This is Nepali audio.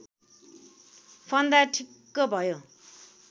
फन्दा ठिक्क भयो